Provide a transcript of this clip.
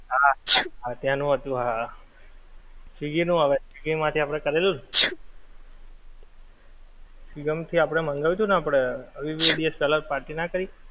હા હા હા ત્યાંનું હતું હા, સ્વીગી નું હવે, સ્વીગી માંથી આપડે કરેલું ને! સ્વીગી માંથી આપડે મંગાવ્યું હતું ને આપડે, બે દિવસ પેલ્લા party ના કરી?